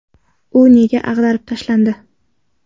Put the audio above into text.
U nega ag‘darib tashlandi ?